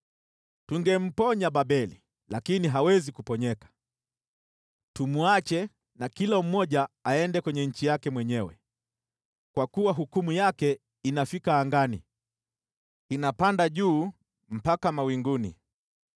“ ‘Tungemponya Babeli, lakini hawezi kuponyeka; tumwacheni, na kila mmoja wetu aende nchi yake mwenyewe, kwa kuwa hukumu yake inafika angani, inapanda juu hadi mawinguni.’